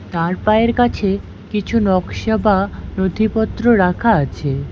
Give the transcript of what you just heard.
তার পায়ের কাছে কিছু নকশা বা নথিপত্র রাখা আছে।